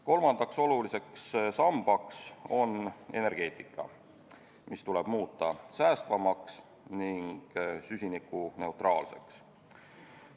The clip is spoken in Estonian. Kolmandaks oluliseks sambaks on energeetika, mis tuleb muuta säästvamaks ning süsinikuneutraalseks.